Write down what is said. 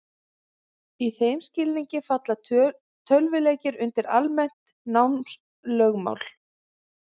Í þeim skilningi falla tölvuleikir undir almennt námslögmál.